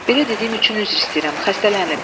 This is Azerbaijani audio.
belə dediyim üçün üzr istəyirəm, xəstələnib.